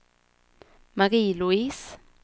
Marie-Louise